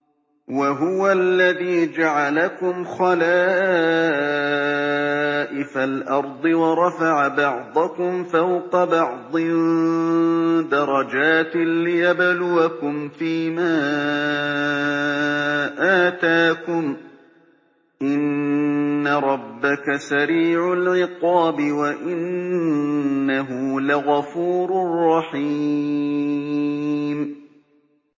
وَهُوَ الَّذِي جَعَلَكُمْ خَلَائِفَ الْأَرْضِ وَرَفَعَ بَعْضَكُمْ فَوْقَ بَعْضٍ دَرَجَاتٍ لِّيَبْلُوَكُمْ فِي مَا آتَاكُمْ ۗ إِنَّ رَبَّكَ سَرِيعُ الْعِقَابِ وَإِنَّهُ لَغَفُورٌ رَّحِيمٌ